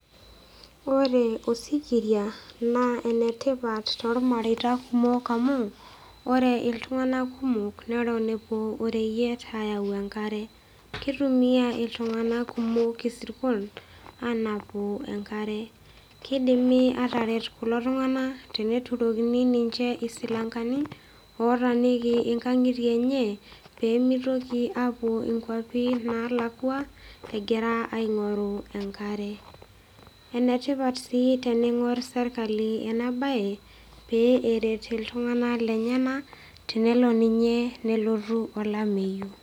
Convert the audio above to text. Ore osikiria naa enetipat tormareita kumok amu ore iltunganak kumok neton epuo ereyiet ayau enkare , kitumia iltunganak isirkon anapu enkare , kidimi ataret kulo tunganak tenturokini ninche isilankeni otaaniki inkangitie enye pemitoki aapuo nkwapi nalakwa egira aingoru enkare. Enetipat sii teningor serkali ena bae pee eret iltunganak lenyenak tenelo ninye nelotu olameyu .